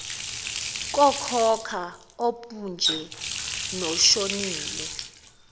kokhokho opnje noshonile